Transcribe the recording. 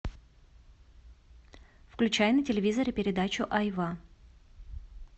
включай на телевизоре передачу айва